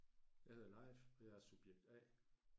Jeg hedder Leif og jeg er subjekt A